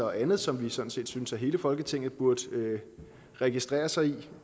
og andet som vi sådan set synes hele folketinget burde registrere sig i det